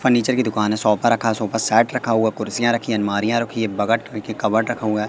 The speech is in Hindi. फर्नीचर की दुकान है सोफा रखा है सोफा सेट रखा हुआ कुर्सियां रखी हैं अलमारियां रखी है बगट र कबर्ड रखा हुआ है।